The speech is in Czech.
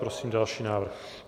Prosím další návrh.